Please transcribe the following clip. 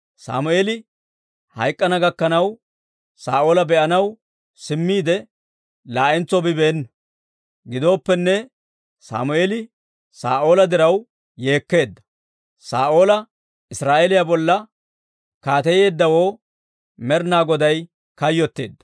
Sammeeli hayk'k'ana gakkanaw, Saa'oola be'anaw simmiide laa'entso bibeena; giddooppene, Sammeeli Saa'oola diraw yeekkeedda. Saa'oola Israa'eeliyaa bolla kaateyeeddawoo Med'inaa Goday kayyotteedda.